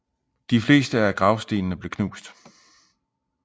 De fleste af gravstenene blev knust